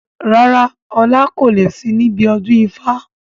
Rárá, ọlá kò lè sì níbi ọdún ifá.